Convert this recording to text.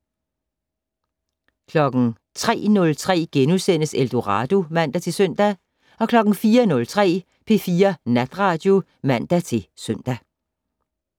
03:03: Eldorado *(man-søn) 04:03: P4 Natradio (man-søn)